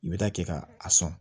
I bɛ taa kɛ ka a sɔn